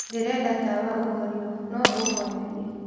ndĩrenda tawa ũhorĩo no ũhorerie